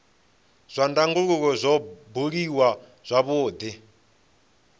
zwa ndangulo zwo buliwa zwavhudi